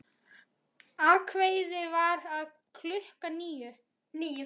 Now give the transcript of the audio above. Ákveðið var að fara klukkan níu.